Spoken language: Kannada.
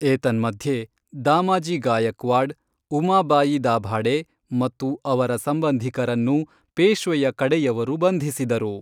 ಏತನ್ಮಧ್ಯೆ, ದಾಮಾಜಿ ಗಾಯಕ್ವಾಡ್, ಉಮಾಬಾಯಿ ದಾಭಾಡೆ ಮತ್ತು ಅವರ ಸಂಬಂಧಿಕರನ್ನು ಪೇಶ್ವೆಯ ಕಡೆಯವರು ಬಂಧಿಸಿದರು.